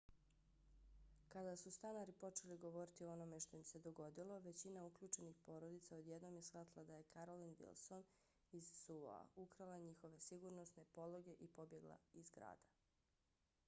kada su stanari počeli govoriti o onome što im se dogodilo većina uključenih porodica odjednom je shvatila da je carolyn wilson iz suo-a ukrala njihove sigurnosne pologe i pobjegla iz grada